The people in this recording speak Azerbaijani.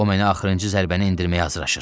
O mənə axırıncı zərbəni endirməyə hazırlaşır.